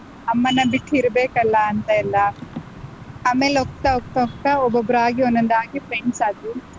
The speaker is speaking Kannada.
ಅಮ್ಮನ್ನ ಬಿಟ್ಟ್ ಇರ್ಬೇಕಲ್ಲಾಂತ ಎಲ್ಲಾ, ಆಮೇಲ್ ಹೋಗ್ತಾ ಹೋಗ್ತಾ ಹೋಗ್ತಾ ಒಬ್ಬೊಬ್ರಾಗಿ ಒಂದೊಂದಾಗಿ friends ಆದ್ರು.